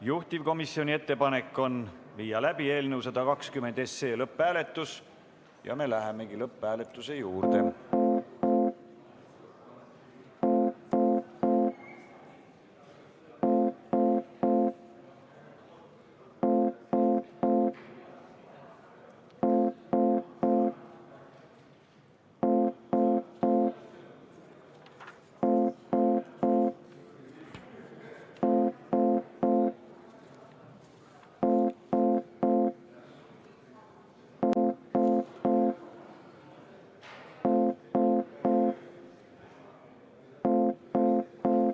Juhtivkomisjoni ettepanek on viia läbi eelnõu 120 lõpphääletus ja me läheme selle juurde.